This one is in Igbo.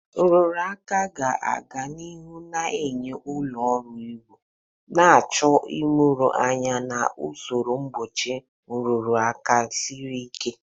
Nrụrụ aka ga-aga n'ihu na-eyi ụlọ ọrụ egwu, na-achọ ịmụrụ anya na usoro mgbochi nrụrụ aka siri ike.